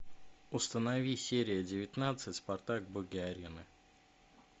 установи серия девятнадцать спартак боги арены